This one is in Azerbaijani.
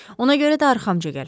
Ona görə də arxamca gəl.